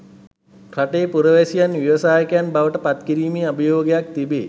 රටේ පුරවැසියන් ව්‍යවසායකයන් බවට පත් කිරීමේ අභියෝගයක් තිබේ.